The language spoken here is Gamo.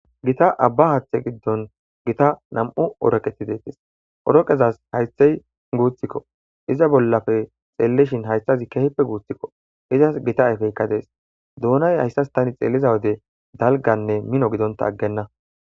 Gita abba haathe giddon gita namm'u horoqeti detessi. Hooreqezassi haytheyi guuthikko. Izaskka gita ayfey deesi. Doonayi hayssasi tani xeeliza wode dalganne mino gidontta aggenna.